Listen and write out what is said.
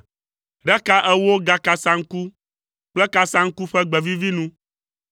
ɖe ka ewo gakasaŋku kple kasaŋku ƒe gbe vivi nu.